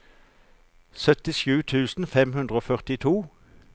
syttisju tusen fem hundre og førtito